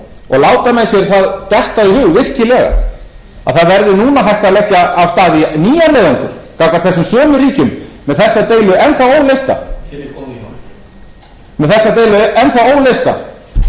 og láta menn það sér það detta í hug virkilega að það verði núna hægt að leggja af stað í nýjan leiðangur gagnvart þessum sömu ríkjum með þessa deilu enn þá óleysta og byggja á því að